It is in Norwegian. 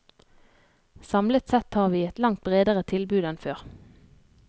Samlet sett har vi et langt bredere tilbud enn før.